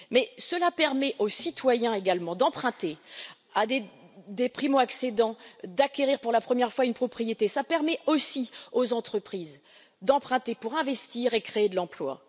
Toutefois, cela permet aux citoyens également d'emprunter, à des primo accédants d'acquérir pour la première fois une propriété et aux entreprises d'emprunter pour investir et créer de l'emploi.